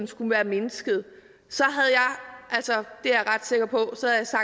skulle være mindsket så er jeg ret sikker på